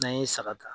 N'an ye saga ta